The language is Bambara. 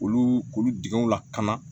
Olu olu dingɛw lakana